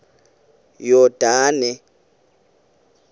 yordane